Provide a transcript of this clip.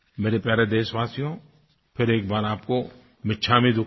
मेरे प्यारे देशवासियो फिर एक बार आपको मिच्छामी दुक्कड़म